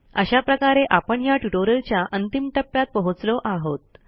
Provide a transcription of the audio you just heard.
अशा प्रकारे आपण ह्या ट्युटोरियलच्या अंतिम टप्प्यात पोहोचलो आहोत